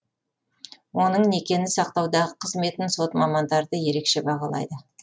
оның некені сақтаудағы қызметін сот мамандары да ерекше бағалайды